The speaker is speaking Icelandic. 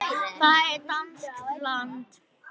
Það er danskt land.